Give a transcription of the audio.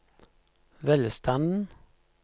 velstanden